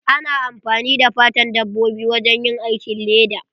Ana amfani da fatan dabbobi wajen yin aikin leda.